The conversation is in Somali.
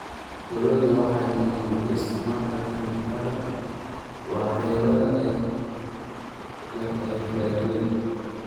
Dawladdu waxay mamnuucday isticmaalka kiimikada waxyeelada leh ee beeraha.